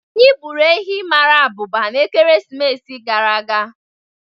Anyị gburu ehi mara abụba n'ekeresimesi gara aga.